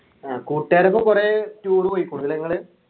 ആഹ് കൂട്ടുകാരൊപ്പം കുറെ tour പോയിക്കുണു അല്ലെ നിങ്ങള്